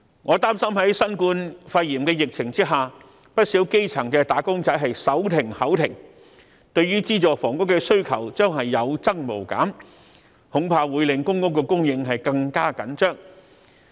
我擔心在新冠肺炎的疫情下，不少基層"打工仔"手停口停，對資助房屋的需求將會有增無減，恐怕令公共租住房屋供應更加緊張。